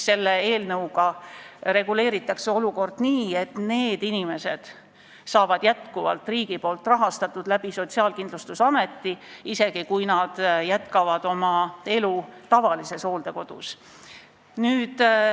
Selle eelnõuga reguleeritakse olukorda nii, et nende inimeste eest tasub jätkuvalt riik Sotsiaalkindlustusameti kaudu, isegi kui nad jätkavad oma elu tavalises hooldekodus.